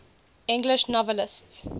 english novelists